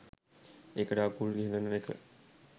ඒකට අකුල් හෙලන එක.